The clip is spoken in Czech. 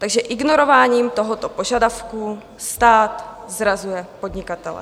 Takže ignorováním tohoto požadavku stát zrazuje podnikatele.